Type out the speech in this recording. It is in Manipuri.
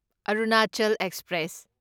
ꯑꯔꯨꯅꯥꯆꯜ ꯑꯦꯛꯁꯄ꯭ꯔꯦꯁ